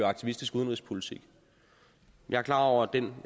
aktivistisk udenrigspolitik jeg er klar over at den